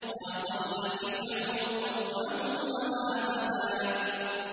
وَأَضَلَّ فِرْعَوْنُ قَوْمَهُ وَمَا هَدَىٰ